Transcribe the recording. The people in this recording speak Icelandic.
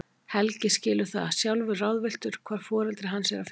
Helgi skilur það, sjálfur ráðvilltur hvar foreldra hans er að finna.